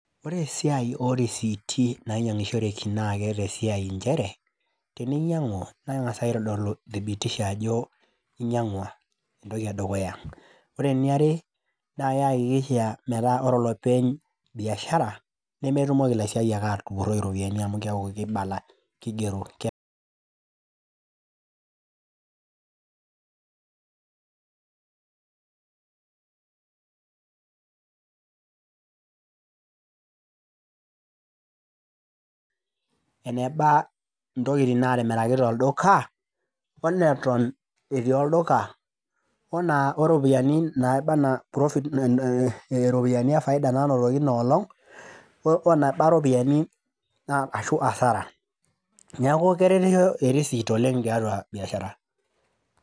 Ore esiai orisiiti nainyang'ishoreki na keeta esiai nchere, eninyang'u neng'asai aitodolu thibitisho ajo inyang'ua, entoki edukuya, ore eniare niakikisha metaa ore olopeny biashara nemetumoki lasiayiak atupuroi iropiyiani amu kibala kigeroenebaa ntokitin natimiraki tolduka onetok etii olduka ona oropiyiani naba ana profit ropiyani e faida nainotoki ina olong' weneba iropiyani ashu hasara neaku keretisho erist oleng' tiatua biashara.